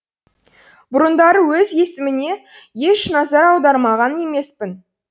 бұрындары өз есіміме еш назар аударған емеспін